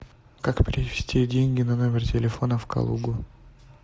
как перевести деньги на номер телефона в калугу